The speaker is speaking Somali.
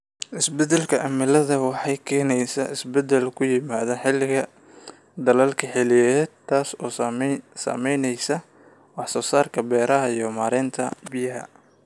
Isbeddelka cimiladu waxay keenaysaa isbeddel ku yimaada xilliga daadadka xilliyeed, taas oo saameynaysa wax soo saarka beeraha iyo maareynta biyaha.